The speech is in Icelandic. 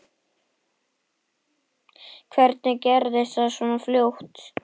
Hvernig gerðist það svona fljótt?